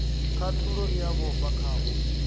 khathulo i a vhofha khavho